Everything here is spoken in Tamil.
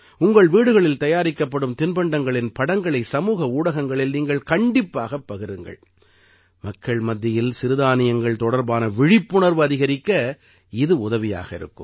உங்கள் வீடுகளில் தயாரிக்கப்படும் தின்பண்டங்களின் படங்களை சமூக ஊடகங்களில் நீங்கள் கண்டிப்பாகப் பகிருங்கள் மக்கள் மத்தியில் சிறுதானியங்கள் தொடர்பான விழிப்புணர்வு அதிகரிக்க இது உதவியாக இருக்கும்